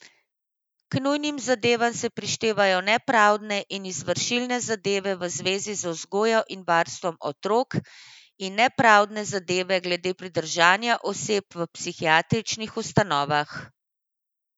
K nujnim zadevam se prištevajo nepravdne in izvršilne zadeve v zvezi z vzgojo in varstvom otrok in nepravdne zadeve glede pridržanja oseb v psihiatričnih ustanovah.